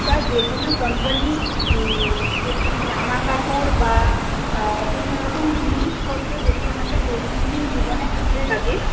বা যে কোনো company যেটি জামা কাপড় বা কোন রকম জিনিসপত্র যেটি আমাদের দৈনন্দিন জীবনে কাজে লাগে